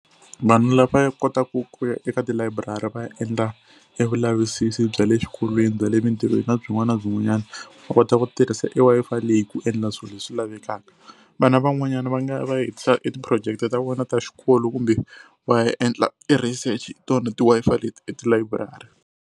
Vanhu lava kotaku ku ya eka tilayiburari va ya endla e vulavisisi bya le swikolweni bya le emitirhweni na byin'wana na byin'wanyana va kota ku tirhisa e Wi-Fi leyi ku endla swilo leswi lavekaka. Vana van'wanyana va nga va ya hetisa e ti-project ta vona ta xikolo kumbe va ya endla i research hi tona ti-Wi-Fi leti etilayiburari.